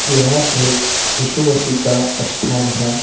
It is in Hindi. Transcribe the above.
यह एक यीशु मसीह का स्थान है।